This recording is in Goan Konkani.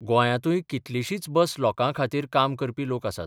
गोंयांतूय कितलिशींच बस लोकां खातीर काम करपी लोक आसात.